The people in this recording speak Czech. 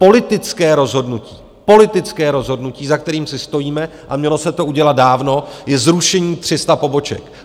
Politické rozhodnutí - politické rozhodnutí - za kterým si stojíme, a mělo se to udělat dávno, je zrušení 300 poboček.